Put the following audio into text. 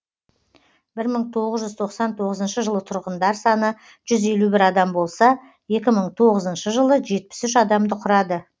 бір мың тоғыз жүз тоқсан алтыншы жылы тұрғындар саны жүз елу бір адам болса екі мың тоғызыншы жылы жетпіс үш адамды құрады